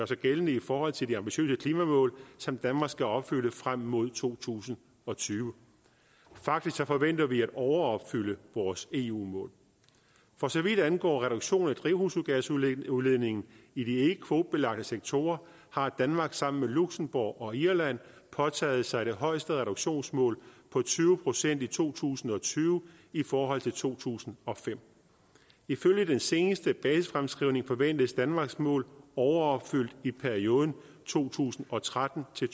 sig gældende i forhold til de ambitiøse klimamål som danmark skal opfylde frem mod to tusind og tyve faktisk forventer vi at overopfylde vores eu mål for så vidt angår reduktion af drivhusgasudledningen i de ikkekvotebelagte sektorer har danmark sammen med luxembourg og irland påtaget sig det højeste reduktionsmål på tyve procent i to tusind og tyve i forhold til to tusind og fem ifølge den seneste basisfremskrivning forventes danmarks mål overopfyldt i perioden to tusind og tretten til